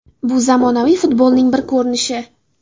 Bu zamonaviy futbolning bir ko‘rinishi.